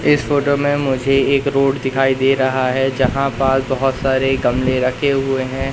इस फोटो में मुझे एक रोड दिखाई दे रहा है जहां पास बहोत सारे गमले रखे हुए हैं।